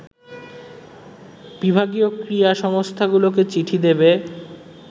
বিভাগীয় ক্রীড়া সংস্থাগুলোকে চিঠি দেবে